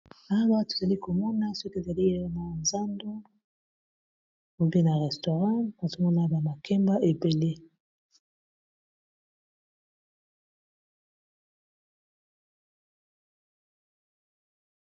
Awa tozali komona soki ezali na zando ou bien na restaurant nazomona ba makemba ebele.